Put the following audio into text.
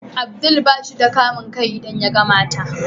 Abdul bashi da kamun kai idan yagan mata.